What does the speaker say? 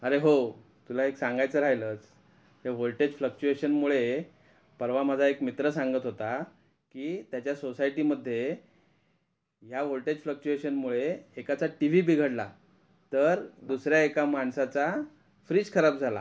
अरे हो तुला एक सांगायच राहिलच. ते वोल्टेज फ्लक्चुएशन मुळे पर्वा माझा एक मित्र सांगत होता कि त्याच्या सोसायटी मध्ये या वोल्टेज फ्लक्चुएशन मुळे एकाचा टीव्ही बिघडला तर दुसऱ्या एका माणसाचा फ्रिज खराब झाला .